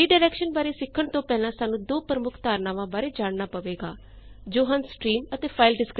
redirection ਬਾਰੇ ਸਿੱਖਣ ਤੋਂ ਪਹਿਲਾਂ ਸਾਨੂੰ ਦੋ ਪ੍ਰਮੁੱਖ ਧਾਰਨਾਂਵਾ ਦੇ ਬਾਰੇ ਜਾਣਨਾ ਪਵੇਗਾ ਜੋ ਹਨ ਸਟ੍ਰੀਮ ਅਤੇ ਫਾਈਲ descriptor